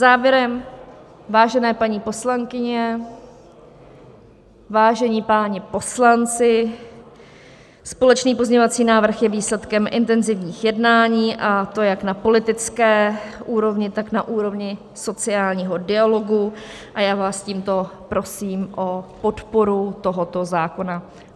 Závěrem, vážené paní poslankyně, vážení páni poslanci, společný pozměňovací návrh je výsledkem intenzivních jednání, a to jak na politické úrovni, tak na úrovni sociálního dialogu, a já vás tímto prosím o podporu tohoto zákona.